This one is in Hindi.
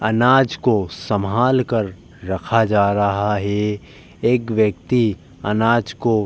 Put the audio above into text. अनाज को सम्हाल कर रखा जा रहा है। एक व्यक्ति अनाज को --